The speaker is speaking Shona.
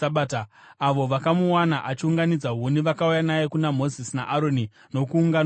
Avo vakamuwana achiunganidza huni vakauya naye kuna Mozisi naAroni nokuungano yose,